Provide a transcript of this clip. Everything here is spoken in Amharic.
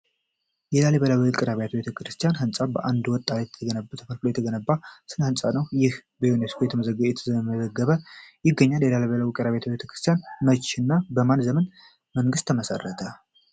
የላሊበላ ውቅር አብያተ ክርስቲያን ህንፃ ከአንድ ወጥ አለት ተፈልፍሎ የተገነባ ስነ ህንፃ ነው። ይህ ህንፃ በዩኒስኮ ተመዝግቦ ይገኛል። የላሊበላ ውቅር አብያተ ክርስቲያን መቼ እና በማን ዘመነ መንግስት ተገነባ ?